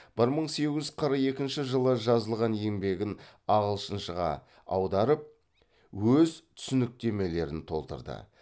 бір мың сегіз жүз қырық екінші жылы жазылған еңбегін ағылшыншаға аударып өз түсініктемелерін толтырды